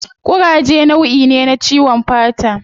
Kuraje nauyi me na ciwon fata